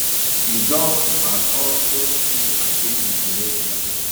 e don has also speak against euthanasia